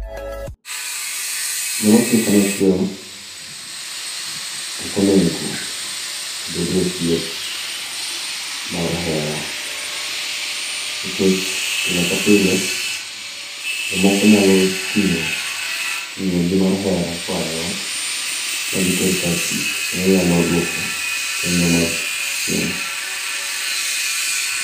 Joma tiyo kanyo achiel, ok onego obed e osiep mar hera. Nikech, pile ka pile, jomoko nyalo tingó ngíyo gi mar hera koae ot, mar giter kar tich, kendo nyalo dwoko chenro mar tich chien.